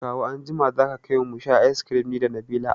Kawu anjima za ka kaimu musha ice kirim nida Nabila